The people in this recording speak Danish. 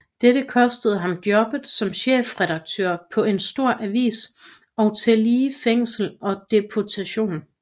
Dette kostede ham jobbet som chefredaktør på en stor avis og tillige fængsel og deportation